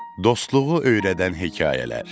Dostluğu öyrədən hekayələr.